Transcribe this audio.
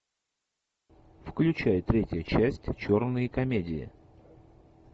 включай третья часть черные комедии